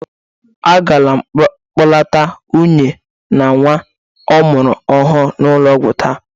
Agara m kpọlata nwunye na nwa ọ mụrụ ọhụrụ n'ụlọ ọgwụ taa.